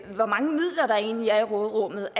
med hvor mange midler der egentlig er i råderummet